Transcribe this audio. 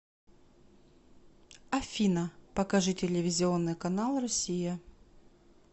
афина покажи телевизионный канал россия